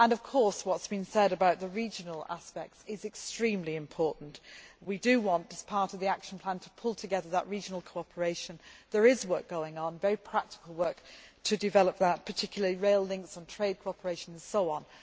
Of course, what has been said about the regional aspects is extremely important. We do want as part of the action plan to pull together that regional cooperation. There is work going on very practical work to develop that, particularly rail links and trade cooperation and so on.